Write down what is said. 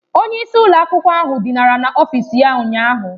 Onye isi ụlọ akwụkwọ ahụ dinara n'ọfịs ya ụnyahụ.